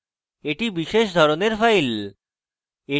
এটি বিশেষ ধরনের file